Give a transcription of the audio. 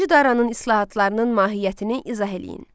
Birinci Daranın islahatlarının mahiyyətini izah eləyin.